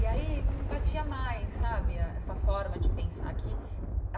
E aí não batia mais sabe ah essa forma de pensar aqui.